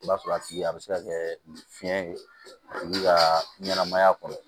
I b'a sɔrɔ a tigi a bɛ se ka kɛ fiyɛn ye a tigi ka ɲɛnɛmaya kɔnɔ